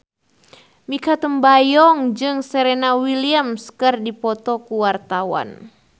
Mikha Tambayong jeung Serena Williams keur dipoto ku wartawan